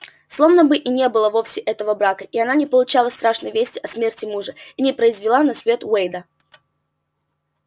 словно бы и не было вовсе этого брака и она не получала страшной вести о смерти мужа и не произвела на свет уэйда